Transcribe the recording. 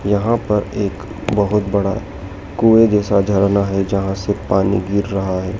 यहाँ पर एक बहुत बड़ा कुए जैसा झरना हैं जहाँ से पानी गिर रहा है।